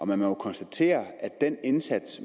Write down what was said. man må jo konstatere at den indsats